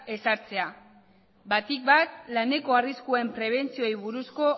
ezartzea batipat laneko arriskuen prebentzioi buruzko